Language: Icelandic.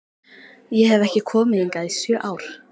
Ég hef ekki komið hingað í sjö ár